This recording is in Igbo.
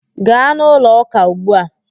Gaa n'ụlọ ụka ugbu a!